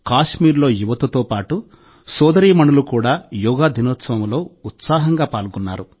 కశ్మీర్లో యువతతో పాటు సోదరీమణులు అమ్మాయిలు కూడా యోగా దినోత్సవంలో ఉత్సాహంగా పాల్గొన్నారు